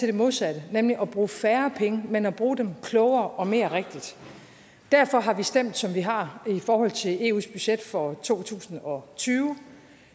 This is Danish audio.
det modsatte nemlig at bruge færre penge men at bruge dem klogere og mere rigtigt derfor har vi stemt som vi har i forhold til eus budget for to tusind og tyve